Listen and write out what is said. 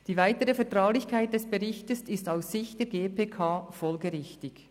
Die weitere Vertraulichkeit des Berichts ist aus Sicht der GPK folgerichtig.